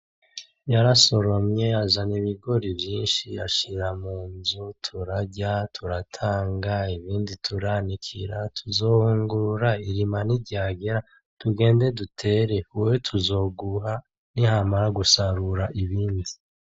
Yarasoromye azana ibigori vyinshi ashira munzu, turarya, turatanga ibindi turanikira. Tuzohungurura irina niryagera tugende dutere, wewe tuzoguha niyamara gusarura ibindi.